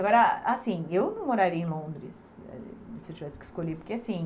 Agora assim, eu não moraria em Londres, se eu tivesse que escolher, porque assim,